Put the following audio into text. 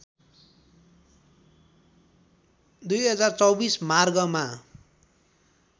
२०२४ मार्गमा